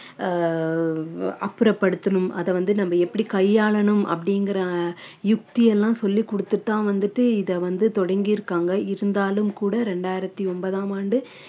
அஹ் அப்புறப்படுத்தனும் அதை வந்து நம்ம எப்படி கையாளணும் அப்படிங்கற யுக்தியெல்லாம் சொல்லிக் கொடுத்துதான் வந்துட்டு இதை வந்து தொடங்கி இருக்காங்க இருந்தாலும் கூட இரண்டாயிரத்தி ஒன்பதாம் ஆண்டு